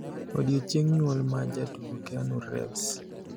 Odiechieng' nyuol ma jatugo keanu reeves